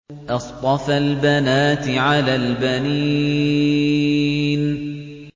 أَصْطَفَى الْبَنَاتِ عَلَى الْبَنِينَ